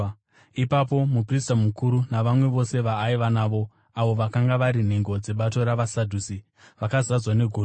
Ipapo muprista mukuru navamwe vose vaaiva navo, avo vakanga vari nhengo dzebato ravaSadhusi, vakazadzwa negodo.